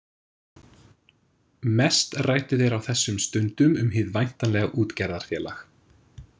Mest ræddu þeir á þessum stundum um hið væntanlega útgerðarfélag.